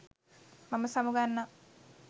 මම සමුගන්නම්